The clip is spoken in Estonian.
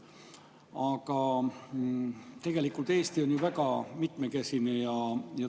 Aga Eesti on väga mitmekesine.